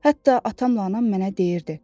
Hətta atamla anam mənə deyirdi: